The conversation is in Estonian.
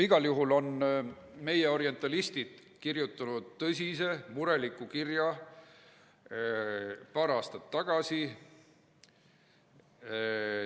Igal juhul on meie orientalistid kirjutanud tõsise mureliku kirja paar aastat tagasi.